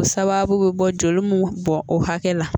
O sababu bɛ bɔ joli mun bɔn o hakɛ la